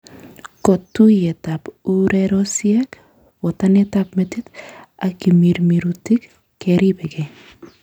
Kotuyetab urerosiek, botanetab metit ak kamirmirutik keribengei